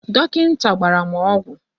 Dọkịnta gbara m ọgwụ.